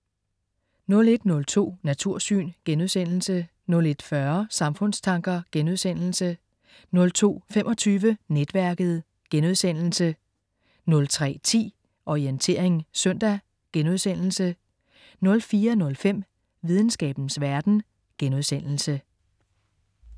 01.02 Natursyn* 01.40 Samfundstanker* 02.25 Netværket* 03.10 Orientering søndag* 04.05 Videnskabens verden*